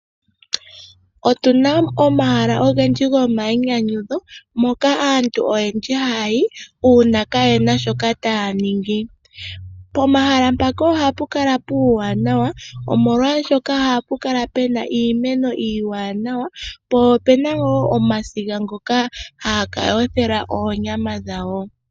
Otuna omahala ogendji gomayinyanyudho moka aantu oyendji haya yi uuna kaayena shoka taya ningi. Pomahala mpoka ohapukala puuwanawa omolwaashoka ohapu kala puna iimeno iiwanawa po opuna woo omasiga ngoka haya ka yothela oonyama dhawo.